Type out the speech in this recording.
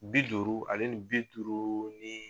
Bi duuru ale ni bi duuru ni